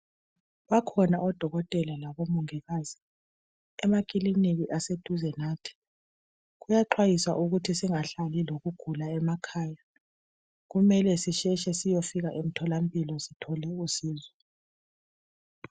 Bakhona odokotela labomongikazi emakilinika eseduze lathi, kuyaxhayisa ukuthi singahlali lokugula emakhaya kumele sisheshe siyofika emtholampilo sithole usizo.